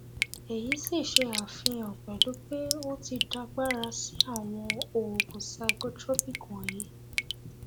èyí sì ṣe àfihàn pẹlú pé o ti dàgbára sí àwọn oògùn psychotropic wọnyí